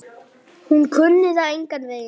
Hún kunni það engan veginn.